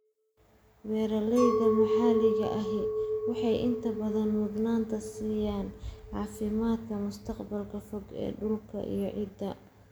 Beeralayda maxalliga ahi waxay inta badan mudnaanta siiyaan caafimaadka mustaqbalka fog ee dhulka iyo ciidda.